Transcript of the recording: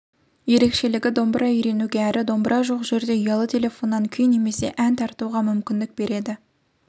ерекшелігі домбыра үйренуге әрі домбыра жоқ жерде ұялы телефоннан күй немесе ән тартуға мүмкіндік береді